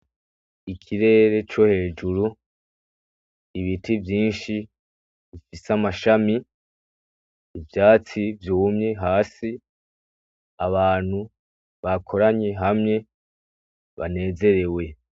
ikirere cohejuru ibiti vyinshi bifise amashami ivyatsi vyumye hasi abantu bakoranye hamwe banezerewe